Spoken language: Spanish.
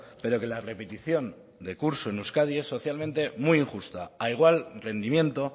pero que la repetición de curso en euskadi es socialmente muy injusta a igual rendimiento